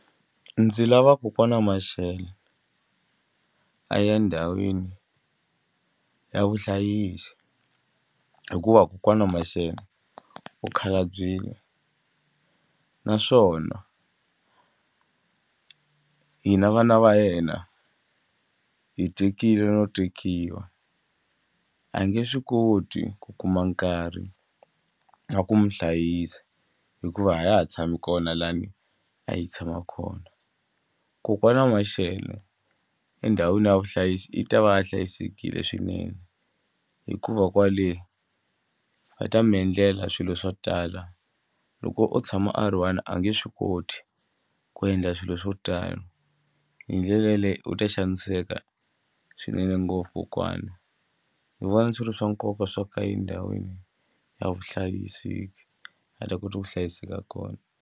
Ndzi lava kokwani Mashele a ya endhawini ya vuhlayisi hikuva kokwana Mashele u khalabyile naswona hina vana va yena hi tekile no tekiwa a hi nge swi koti ku kuma nkarhi na ku mu hlayisa hikuva a ya ha tshami kona lahani a yi tshama kona. Kokwana Mashele endhawini ya vuhlayisi i ta va a hlayisekile swinene hikuva kwale va ta mi endlela swilo swo tala loko o tshama a ri one a nge swi koti ku endla swilo swo tala hi ndlela yaleyo u ta xaniseka swinene ngopfu kokwana ni vona swi ri swa nkoka swo ka endhawini ya vuhlayiseki a ta kota ku hlayiseka kona.